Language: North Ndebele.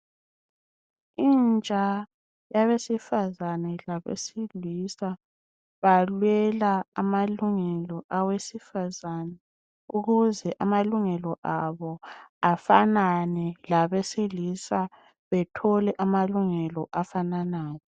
Intsha yabesifazana labesilisa balwela amalungelo awesifazana ukuze amalungelo abo afanane labesilisa bethole amalungelo afananayo.